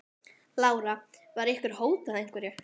Lára: Var ykkur hótað einhverju?